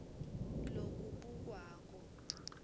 lokubukwako